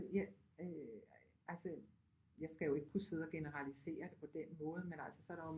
Altså jeg skal jo ikke kunne sidde og generalisere det på den måde men altså så er der jo